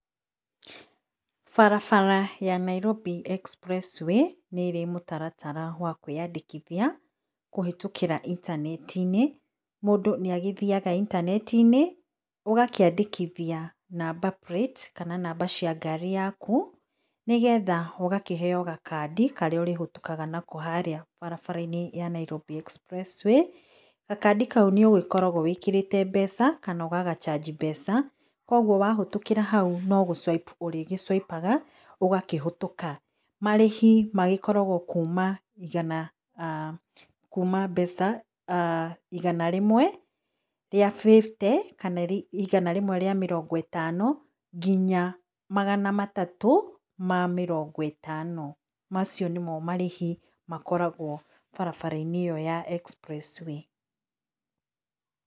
Barabara ya Nairobi Expressway nĩ ĩrĩ mũtaratara wa kwĩyandĩkĩthia kũhetũkĩra intaneti-inĩ mũndũ nĩ agĩthiaga ĩntanetĩ-inĩ ũgakíĩndĩkithia [sc]number plates kana namba cia ngarĩ yakũ nĩgetha ũgakĩheo gakandi karĩa ũrĩhetũkaga nako harĩa barabara-inĩ ya Nairobi Expressway. Gakandĩ kaũ nĩugĩkoragwo wĩkĩrĩte mbeca kana ũgaga charge mbeca kwa ũgũo wahĩtũkira haũ no gũ swipe ũrĩgĩ swipe aga ũgakĩhĩtũka . Marĩhĩ magĩkoragwo kũma ĩgana kũma mbeca ĩgana rimwe rĩa fifty kana igana rĩmwe ríĩ mĩrongo ĩtano ngĩnya magana matatũ ma mĩrongo ĩtano macio nĩmo marĩhĩ makoragwo barabara-inĩ ĩyo ya Nairobi Expressway.